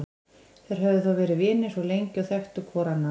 Þeir höfðu þó verið vinir svo lengi og þekktu hvor annan.